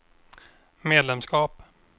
medlemskap